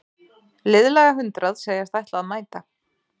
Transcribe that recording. Liðlega hundrað segjast ætla að mæta